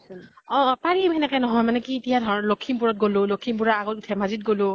অ অ । পাৰিম সেনেকে নহয় মানে কি কি এতিয়া ধৰ লক্ষীমপুৰ ত গʼলো, লক্ষীমপুৰ ৰ আগত ধেমাজী গʼলো